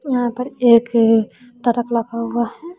यहां पर एक ट्रक लगा हुआ है।